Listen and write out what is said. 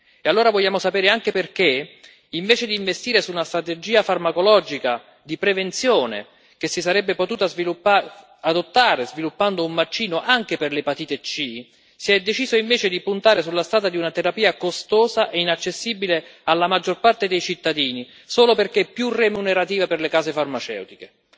E allora vogliamo sapere anche perché, invece di investire in una strategia farmacologica di prevenzione che si sarebbe potuta adottare sviluppando un vaccino anche per l'epatite C, si è deciso invece di puntare sulla strada di una terapia costosa e inaccessibile alla maggior parte dei cittadini, solo perché più remunerativa per le case farmaceutiche.